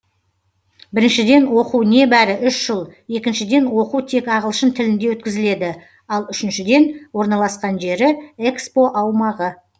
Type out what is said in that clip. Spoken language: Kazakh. біріншіден оқу небәрі үш жыл екіншіден оқу тек ағылшын тілінде өткізіледі ал үшіншіден орналасқан жері экспо аумағы